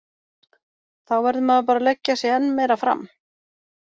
Þá verður maður bara að leggja sig enn meira fram.